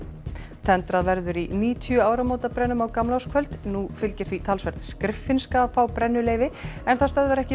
tendrað verður í níutíu áramótabrennum á gamlárskvöld nú fylgir því talsverð skriffinska að fá brennuleyfi en það stöðvar ekki